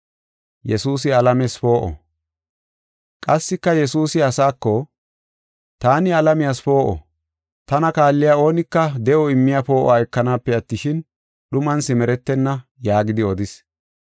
Qassika Yesuusi asaako, “Taani alamiyas poo7o. Tana kaalliya oonika de7o immiya poo7uwa ekanaape attishin, dhuman simeretenna” yaagidi odis.